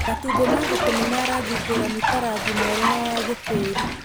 Matumbĩ ma ngũkũ nĩ ma rangi ngũrani ta rangi mwerũ na wa gĩtĩĩri.